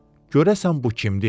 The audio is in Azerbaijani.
Görəsən bu kimdir?